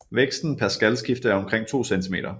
Væksten per skalskifte er omkring 2 cm